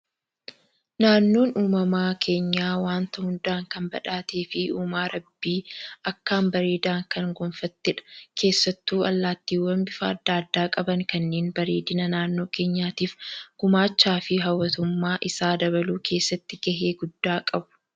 Naannoon uumama keenyaa waanta hundaan kan badhaatee fi uumaa rabbii akkaan bareedan kan gonfattedha. Keessattuu allaattiiwwan bifa addaa addaa qaban kanneen bareedina naannoo keenyaatiif gumaacha fi hawwatummaa isaa dabaluu keessatti gahee guddaa qabu.